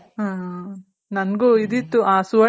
ಹಾ ನನ್ಗೂ ಇದಿತ್ತು. ಆ